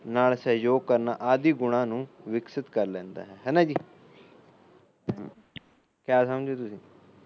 ਨਾਲ ਸਹਿਯੋਗ ਕਰਨਾ ਆਦਿ ਗੁਣਾ ਨੂੰ ਵਿਕਸਿਤ ਕਰ ਲੈਂਦਾ ਹੈ ਹੈਨਾ ਜੀ ਕਿਆ ਸਮਝੇ ਤੁਸੀ